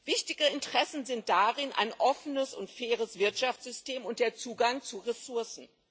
Wichtige Interessen sind darin ein offenes und faires Wirtschaftssystem und der Zugang zu Ressourcen.